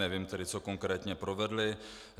Nevím tedy, co konkrétně provedli.